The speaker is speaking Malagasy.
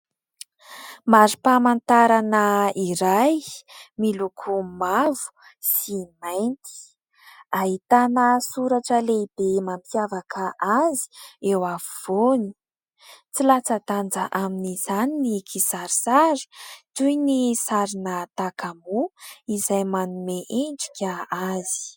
Marim-pamantarana iray miloko mavo sy mainty. hitana soratra lehibe mampiavaka azy eo afovoany. Tsy latsa-danja amin'izany ny kisarisary toy ny sarina takamoa izay manome endrika azy.